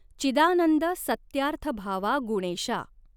चिदानंद सत्यार्थभावा गुणेशा।